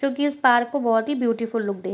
जो की उस पहाड़ को बहुत ही ब्यूटीफुल लुक दे --